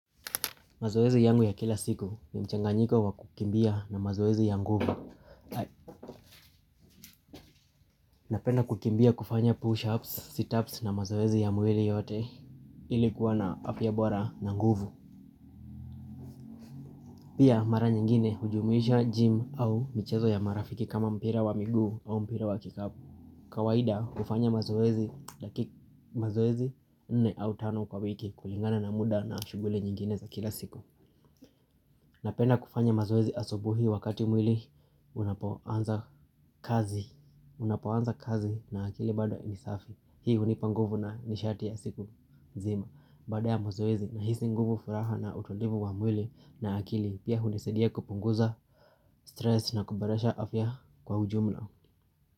Mazoezi yangu ya kila siku ni mchanganyiko wa kukimbia na mazoezi ya nguvu. Napenda kukimbia kufanya push ups, sit ups na mazoezi ya mwili yote ilikuwa na afya bora na nguvu. Pia mara nyingine hujumuisha gym au michezo ya marafiki kama mpira wa miguu au mpira wa kikapu. Kawaida hufanya mazoezi laki mazoezi nne au tano kwa wiki kulingana na muda na shughuli nyingine za kila siku. Napenda kufanya mazoezi asubuhi wakati mwili unapoanza kazi na akili bado nisafi. Hii hunipa nguvu na nishati ya siku nzima baada ya mazoezi nahisi nguvu furaha na utulivu wa mwili na akili. Pia hunisaidia kupunguza stress na kuboresha afya kwa ujumla.